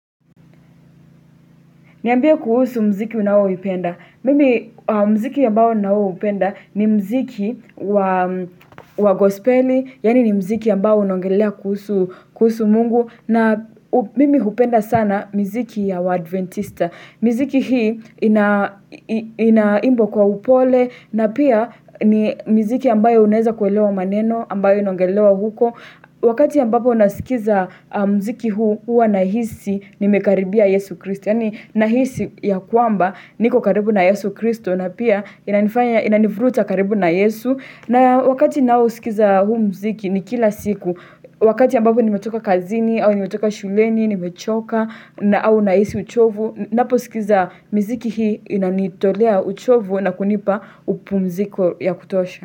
Niambia kuhusu mziki unaoupenda. Mimi mziki ambao naoupenda ni mziki wa gospeli, yaani ni mziki ambao unaongelea kuhusu mungu. Na mimi hupenda sana mziki ya waadventista. Miziki hii inaimbwa kwa upole, na pia ni miziki ambayo unaweza kuelewa maneno, ambayo inaongelewa huko. Wakati ambapo nasikiza mziki huu Hua nahisi nimekaribia Yesu Kristo Yaani nahisi ya kwamba niko karibu na Yesu Kristo na pia inanivuruta karibu na Yesu na wakati nausikiza huu mziki ni kila siku Wakati ambapo nimetoka kazini au nimetoka shuleni, nimechoka au nahisi uchovu Napousikiza miziki hii inanitolea uchovu na kunipa upumziko ya kutosha.